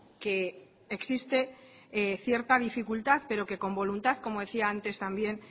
que existe cierta dificultad pero que con voluntad como decía antes también